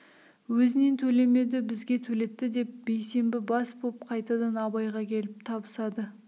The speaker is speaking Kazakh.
өзінен төлемеді бізге төлетті деп бейсембі бас болып қайтадан абайға келіп табысады